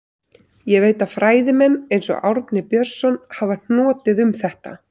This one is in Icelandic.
Ég veit að fræðimenn, eins og Árni Björnsson, hafa hnotið um þetta.